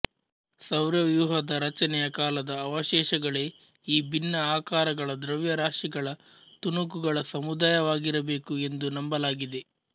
ಸೌರವ್ಯೂಹದ ರಚನೆಯ ಕಾಲದ ಅವಶೇಷಗಳೇ ಈ ಭಿನ್ನ ಆಕಾರಗಳ ದ್ರವ್ಯರಾಶಿಗಳ ತುಣುಕುಗಳ ಸಮುದಾಯವಾಗಿರಬೇಕು ಎಂದು ನಂಬಲಾಗಿದೆ